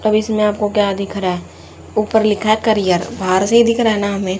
अब इसमें आपको क्या दिख रहा है ऊपर लिखा है करियर बाहर से दिख रहा है ना हमें।